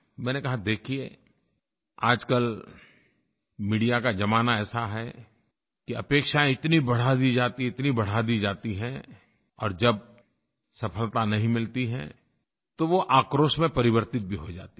मैंने कहा देखिए आजकल मीडिया का ज़माना ऐसा है कि अपेक्षायें इतनी बढ़ा दी जाती हैं इतनी बढ़ा दी जाती हैं और जब सफ़लता नहीं मिलती है तो वो आक्रोश में परिवर्तित भी हो जाती है